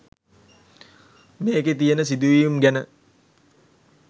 මේකේ තියෙන සිදුවීම් ගැන